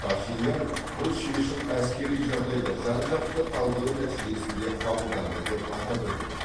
пашинян бұл шешім әскери жағдайды жан жақты талдау нәтижесінде қабылданды деп атап өтті